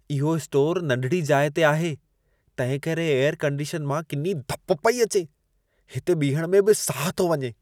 इहो स्टोरु नंढिड़ी जाइ ते आहे, तंहिंकरे एयर कंडिशन मां किनी धप पेई अचे। हिते बीहण में बि साहु थो वञे।